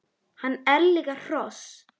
Hann er líka hross!